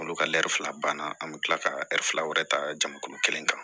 Olu ka ɛri fila banna an bɛ tila ka ɛri fila wɛrɛ ta jamakulu kelen kan